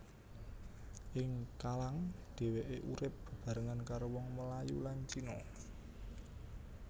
Ing Kallang deweké urip bebarengan karo wong Melayu lan Cina